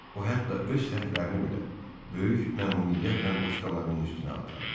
O hətta öz səhvlərini belə böyük məmnuniyyətlə başqalarının üstünə atardı.